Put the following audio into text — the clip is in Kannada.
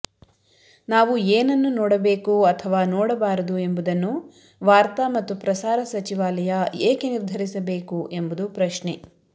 ನಾವು ಏನನ್ನು ನೋಡಬೇಕು ಅಥವಾ ನೋಡಬಾರದು ಎಂಬುದನ್ನು ವಾರ್ತಾ ಮತ್ತು ಪ್ರಸಾರ ಸಚಿವಾಲಯ ಏಕೆ ನಿರ್ಧರಿಸಬೇಕು ಎಂಬುದು ಪ್ರಶ್ನೆ